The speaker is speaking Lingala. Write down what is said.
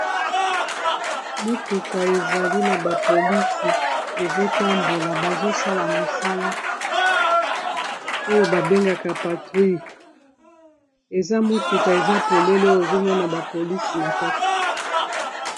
Mutuka ezali na ba polisi ezo tambola bazo sala mosala oyo ba bengaka patrouille, eza motuka eza polele ozo mona ba polisi na kati